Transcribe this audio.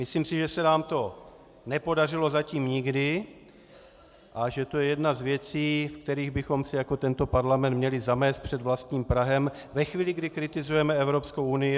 Myslím si, že se nám to nepodařilo zatím nikdy a že to je jedna z věcí, v kterých bychom si jako tento parlament měli zamést před vlastním prahem ve chvíli, kdy kritizujeme Evropskou unii.